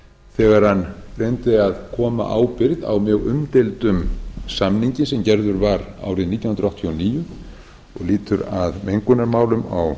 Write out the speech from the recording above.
þegar hann reyndi að koma ábyrgð á mjög umdeildum samningi sem gerður var árið nítján hundruð áttatíu og níu og lýtur að mengunarmálum